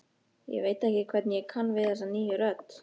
Ég veit ekki hvernig ég kann við þessa nýju rödd.